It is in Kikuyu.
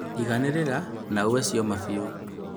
Iganĩrĩra na ũe cioma biũ